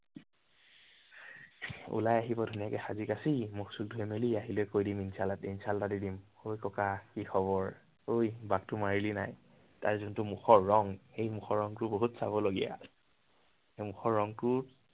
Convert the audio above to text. ওলাই আহিব ধুনীয়াকে সাজি-কাচি, মুখ চুখ ধুই মেলি। আহিলে কৈ দিম, insult এটা দিম। ঐ ককা কি খবৰ? ঐ বাটতো মাৰিলি নাই। তাইৰ জোনটো মুখৰ ৰং, সেই মুখৰ ৰঙটো বহুত চাবলগীয়া। সেই মুখৰ ৰংটো